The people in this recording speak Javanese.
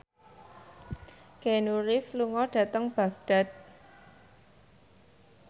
Keanu Reeves lunga dhateng Baghdad